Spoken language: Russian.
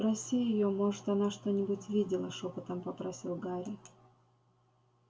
спроси её может она что-нибудь видела шёпотом попросил гарри